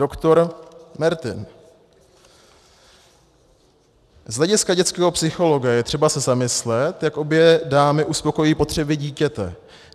Doktor Mertin: "Z hlediska dětského psychologa je třeba se zamyslet, jak obě dámy uspokojí potřeby dítěte.